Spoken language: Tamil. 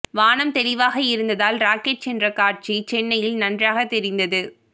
வானம் தெளிவாக இருந்ததால் ராக்கெட் சென்ற காட்சி சென்னையில் நன்றாக தெரிந்தது